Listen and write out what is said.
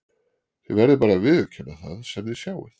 Þið verðið bara að viðurkenna það sem þið sjáið.